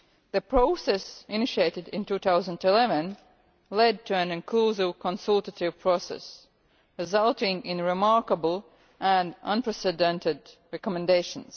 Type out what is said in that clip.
The process initiated in 2011 led to an inclusive consultative process, resulting in remarkable and unprecedented recommendations.